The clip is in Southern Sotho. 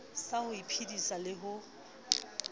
sa ho iphedisa le ho